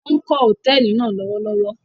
Wọn kó Hotẹẹli náa lọwọlọwọ